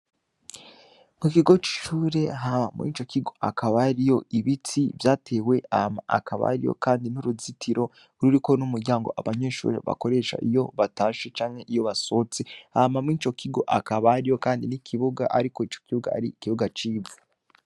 Mu kigo c'icure haa muico kigo akabariyo ibitsi vyatewe ama akabariyo, kandi n'uruzitiro ruriko n'umuryango abanyeshuri bakoresha iyo batashe canke iyo basotse ama mw ico kigo akabariyo, kandi n'ikibuga, ariko ico kibuga ari ikibuga civa.